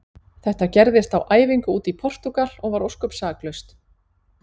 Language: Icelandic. Þetta gerðist á æfingu úti í Portúgal og var ósköp saklaust.